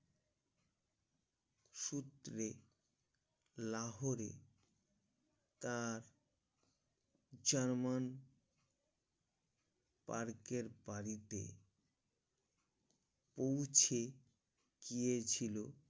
তরে লাহোর তার চামান park এর পারিতে ওইছে কিযে ছিল